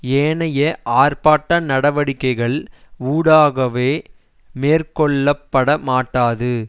ஏனைய ஆர்ப்பாட்ட நடவடிக்கைகள் ஊடாகவோ மேற்கொள்ள பட மாட்டாது